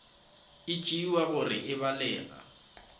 e tšewa gore e balega